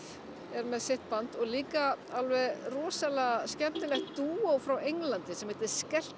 er með sitt band og líka alveg rosalega skemmtilegt dúó frá Englandi sem heitir